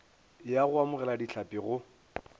ya go amogela dihlapi go